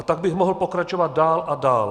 A tak bych mohl pokračovat dál a dál.